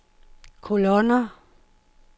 kolonner